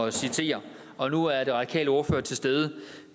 at citere og nu er den radikale ordfører til stede